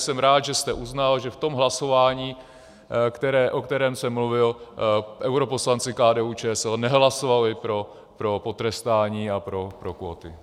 Jsem rád, že jste uznal, že v tom hlasování, o kterém jsem mluvil, europoslanci KDU-ČSL nehlasovali pro potrestání a pro kvóty.